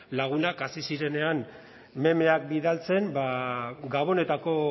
lagunak hasi zirenean memeak bidaltzen ba gabonetako